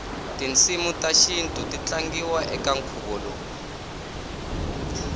tinsimutashintu titatlangiwa ekankhuvolowu